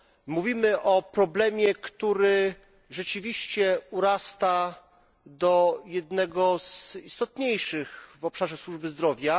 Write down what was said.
Mówimy o problemie, który rzeczywiście urasta do jednego z istotniejszych w obszarze służby zdrowia.